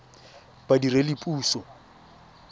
badiredipuso